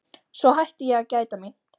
Svo hætti ég að gæta mín.